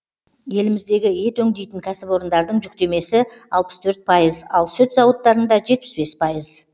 еліміздегі ет өңдейтін кәсіпорындардың жүктемесі алпыс төрт пайыз ал сүт зауыттарында жетпіс бес пайыз